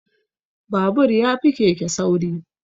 Babur ya fi keke sauri